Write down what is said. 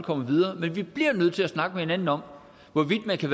komme videre men vi bliver nødt til at snakke med hinanden om hvorvidt man kan